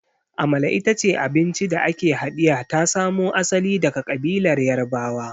Amala ita ce abinci da ake haɗiya ta samo asali daga ƙabilar Yarbawa.